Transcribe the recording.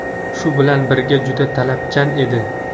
Shu bilan birga juda talabchan edi.